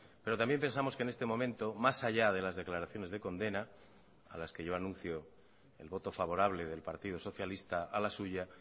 pero también pensamos que en este momento más allá de las declaraciones de condena a las que yo anuncio el voto favorable del partido socialista a la suya